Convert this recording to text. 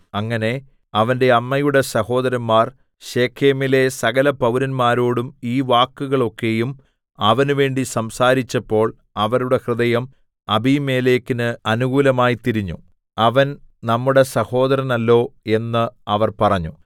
അങ്ങനെ അവന്റെ അമ്മയുടെ സഹോദരന്മാർ ശെഖേമിലെ സകലപൌരന്മാരോടും ഈ വാക്കുകളൊക്കെയും അവനുവേണ്ടി സംസാരിച്ചപ്പോൾ അവരുടെ ഹൃദയം അബീമേലെക്കിന് അനുകൂലമായി തിരിഞ്ഞു അവൻ നമ്മുടെ സഹോദരനല്ലോ എന്ന് അവർ പറഞ്ഞു